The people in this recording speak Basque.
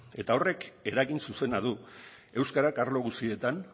eta horrek eragin zuzena du euskarak arlo guztietan